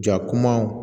Ja kumaw